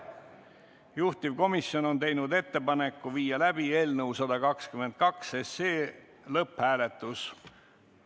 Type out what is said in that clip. Juhtivkomisjon on teinud ettepaneku viia läbi eelnõu 122 lõpphääletus.